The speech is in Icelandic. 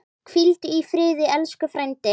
Hvíldu í friði elsku frændi.